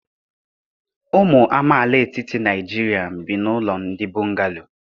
Ụmụ amaala etiti Nigeria bi n'ụlọ ndị bungalọ